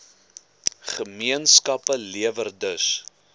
gemeenskappe lewer dus